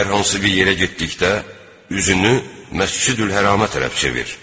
Hər hansı bir yerə getdikdə üzünü Məscidül-Hərama tərəf çevir.